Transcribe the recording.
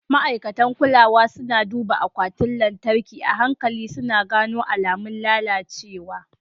Ma'aikatan kulawa suna duba akwatin lantarki a hankali, suna gano alamun lalacewa.